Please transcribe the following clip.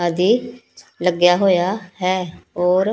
ਦੀ ਲੱਗਿਆ ਹੋਇਆ ਹੈ ਔਰ--